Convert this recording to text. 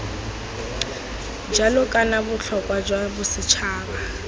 jalo kana botlhokwa jwa bosetšhaba